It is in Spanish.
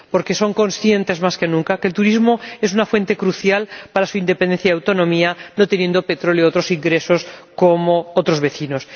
Porque son conscientes, más que nunca, de que el turismo es una fuente crucial para su independencia y autonomía, al no tener petróleo ni otros ingresos como otros vecinos.